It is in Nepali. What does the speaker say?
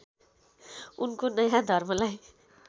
उनको नयाँ धर्मलाई